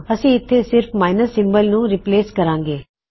ਅਸੀਂ ਇੱਥੇ ਸਿਰਫ ਮਾਇਨਸ ਸਿਮਬਲ ਨੂੰ ਰਿਪਲੇਸ ਕਰਾਂਗੇ